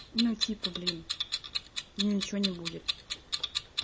ну типа блин им ничего не будет